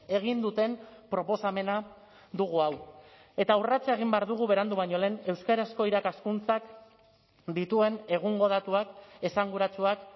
egin duten proposamena dugu hau eta urratsa egin behar dugu berandu baino lehen euskarazko irakaskuntzak dituen egungo datuak esanguratsuak